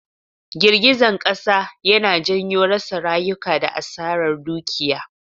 Girgizan Kasa yana janyo rasa rayuka da Asarar Dukiya.